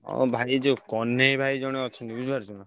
ହଁ ଭାଇ ଯୋଉ କହ୍ନେଇ ଭାଇ ଜଣେ ଅଛନ୍ତି ବୁଝିପାରୁଛନା?